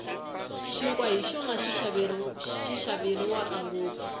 xinkwa hi xona xi xaveriwaka ngopfu